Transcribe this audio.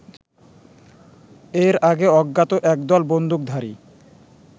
এর আগে অজ্ঞাত একদল বন্দুকধারী